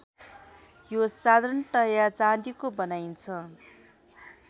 यो साधारणतया चाँदीको बनाइन्छ